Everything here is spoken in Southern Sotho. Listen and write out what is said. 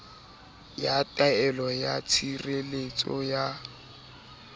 ya taelo ya tshireletso ya